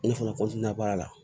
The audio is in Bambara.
Ne fana baara la